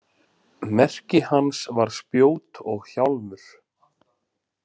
Merki hans var spjót og hjálmur.